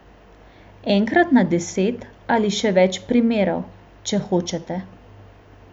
Enkrat na deset ali še več primerov, če hočete.